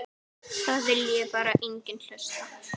Það vilji bara enginn hlusta.